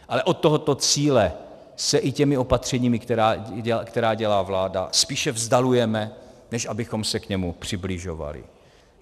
Ale od tohoto cíle se i těmi opatřeními, která dělá vláda, spíše vzdalujeme, než abychom se k němu přibližovali.